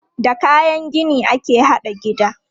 Da kayan gini ake haɗa gida.